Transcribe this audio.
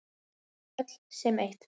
Öll sem eitt.